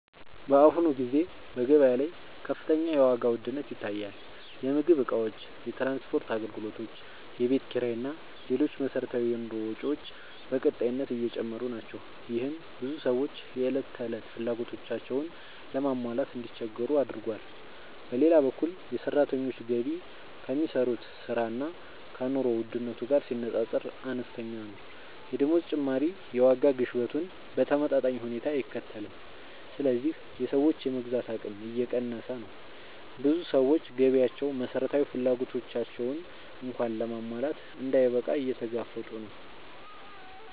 በአሁኑ ጊዜ በገበያ ላይ ከፍተኛ የዋጋ ውድነት ይታያል። የምግብ እቃዎች፣ የትራንስፖርት አገልግሎቶች፣ የቤት ኪራይ እና ሌሎች መሠረታዊ የኑሮ ወጪዎች በቀጣይነት እየጨመሩ ናቸው። ይህም ብዙ ሰዎች የዕለት ተዕለት ፍላጎቶቻቸውን ለማሟላት እንዲቸገሩ አድርጓል። በሌላ በኩል የሰራተኞች ገቢ ከሚሰሩት ሥራ እና ከኑሮ ውድነቱ ጋር ሲነጻጸር አነስተኛ ነው። የደመወዝ ጭማሪ የዋጋ ግሽበቱን በተመጣጣኝ ሁኔታ አይከተልም፣ ስለዚህ የሰዎች የመግዛት አቅም እየቀነሰ ነው። ብዙ ሰዎች ገቢያቸው መሠረታዊ ፍላጎቶቻቸውን እንኳን ለማሟላት እንዳይበቃ እየተጋፈጡ ነው።